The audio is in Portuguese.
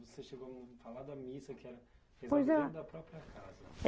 Você chegou a falar da missa que era rezada dentro da própria casa.